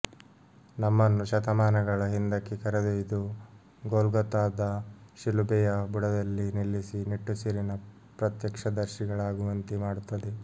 ನಮ್ಮನ್ನು ಶತಮಾನಗಳ ಹಿಂದಕ್ಕೆ ಕರೆದೊಯ್ದು ಗೊಲ್ಗೊಥಾದ ಶಿಲುಬೆಯ ಬುಡದಲ್ಲಿ ನಿಲ್ಲಿಸಿ ನಿಟ್ಟುಸಿರಿನ ಪ್ರತ್ಯಕ್ಷದರ್ಶಿಗಳಾಗುವಂತೆ ಮಾಡುತ್ತದೆ